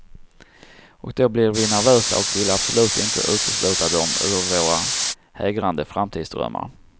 Och då blir vi nervösa och vill absolut inte utesluta dem ur våra hägrande framtidsdrömmar.